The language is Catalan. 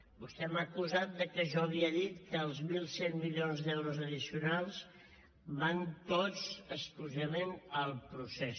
vostè m’ha acusat que jo havia dit que els mil cent milions d’euros addicionals van tots exclusivament al procés